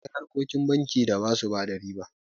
Akwai harkokin banki da ba su bada riba.